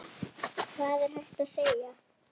Hvað er hægt að segja?